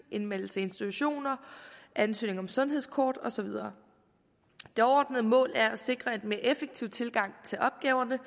indmeldelse i institutioner ansøgning om sundhedskort og så videre det overordnede mål er at sikre en mere effektiv tilgang til opgaverne